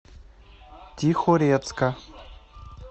тихорецка